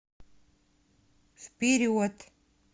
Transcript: вперед